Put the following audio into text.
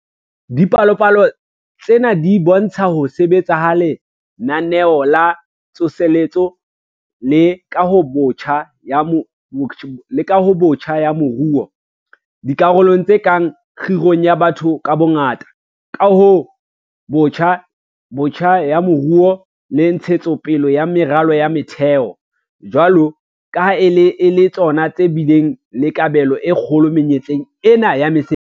Dipalopalo tsena di bo ntsha ho sebetsa ha Lenaneo la Tsoseletso le Kahobotjha ya Moruo - dikarolong tse kang kgirong ya batho ka bongata, kahong botjha ya moruo le ntshetso pele ya meralo ya motheo - jwalo ka ha e le tsona tse bileng le kabelo e kgolo menyetleng ena ya mesebetsi.